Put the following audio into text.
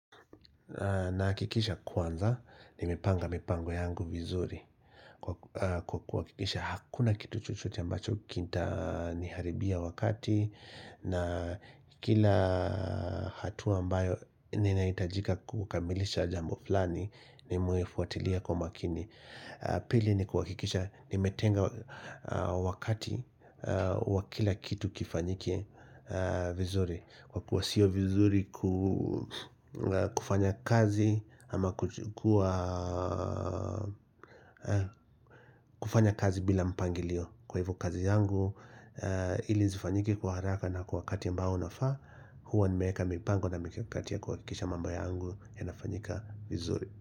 Na kikiisha kwanza ni mepanga mipango yangu vizuri Kwa kuwa kikisha hakuna kitu chochote ambacho kitaniharibia wakati na kila hatua ambayo ninaitajika kukamilisha jambo flani ni muefuatilia kwa makini Pili ni kuhakikisha nimetenga wakati wa kila kitu kifanyike vizuri Kwa kuwa sio vizuri kufanya kazi ama kuwa kufanya kazi bila mpangilio Kwa hivo kazi yangu ili zifanyike kwa haraka na kwa wakati ambao unafaa Hua nimeeka mipango na mikakati ya kuhakisha mambo yangu yanafanyika vizuri.